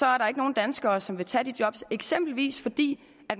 er der ikke nogen danskere som vil tage de job eksempelvis fordi